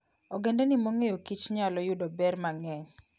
Ogendini mong'eyokich nyalo yudo ber mang'eny.